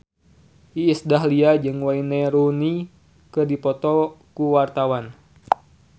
Iis Dahlia jeung Wayne Rooney keur dipoto ku wartawan